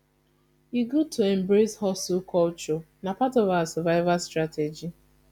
e good to embrace hustle culture na part of our survival strategy